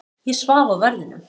Ég svaf á verðinum.